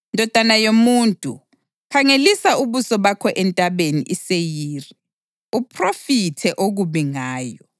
“Ndodana yomuntu, khangelisa ubuso bakho eNtabeni iSeyiri; uphrofithe okubi ngayo